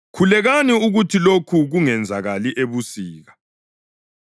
Khulekani ukuthi lokhu kungenzakali ebusika,